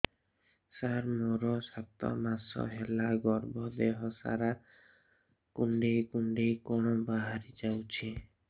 ସାର ମୋର ସାତ ମାସ ହେଲା ଗର୍ଭ ଦେହ ସାରା କୁଂଡେଇ କୁଂଡେଇ କଣ ବାହାରି ଯାଉଛି